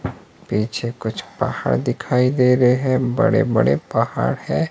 पीछे कुछ पहाड़ दिखाई दे रहे है बड़े बड़े पहाड़ है।